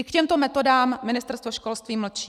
I k těmto metodám Ministerstvo školství mlčí.